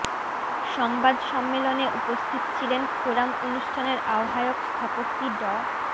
সংবাদ সম্মেলনে উপস্থিত ছিলেন ফোরাম অনুষ্ঠানের আহ্বায়ক স্থপকি ড